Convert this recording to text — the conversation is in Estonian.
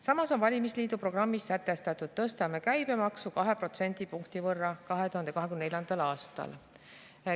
" Samas on valitsusliidu programmis sätestatud: "Tõstame käibemaksu 2 protsendipunkti võrra 2024. aastal.